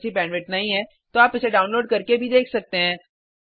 अच्छी बैंडविड्थ न मिलने पर आप इसे डाउनलोड करके देख सकते हैं